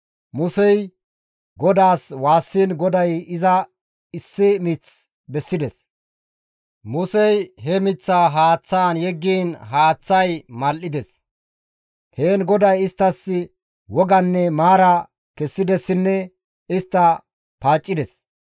Musey GODAAS waassiin GODAY iza issi mith bessides; Musey he miththaa haaththaan yeggiin haaththay mal7ides. Heen GODAY isttas woganne maara kessidessinne istta paaccides.